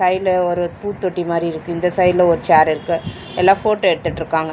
சைடுல ஒரு பூத்தொட்டி மாரி இருக்கு இந்த சைடுல ஒரு ஷேர் இருக்கு எல்லா ஃபோட்டோ எடுத்துட்ருக்காங்க.